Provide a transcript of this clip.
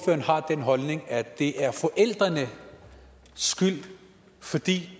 har den holdning at det er forældrenes skyld fordi